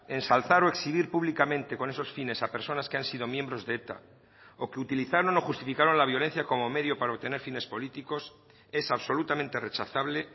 ensalzar o exhibir públicamente con esos fines a personas que han sido miembros de eta o que utilizaron o justificaron la violencia como medio para obtener fines políticos es absolutamente rechazable